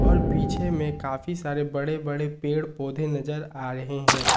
और पीछे में काफी सारे बड़े बड़े पेड़ पौधे नजर आ रहे हैं।